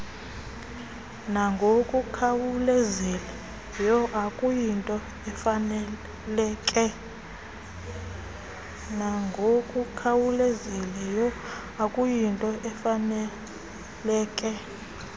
nangokukhawulezileyo okuyinto efaneleke